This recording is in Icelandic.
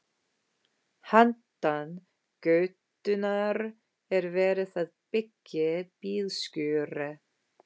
Handan götunnar er verið að byggja bílskúra.